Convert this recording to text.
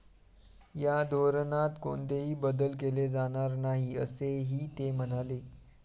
या धोरणात कोणतेही बदल केले जाणार नाही, असेही ते म्हणाले.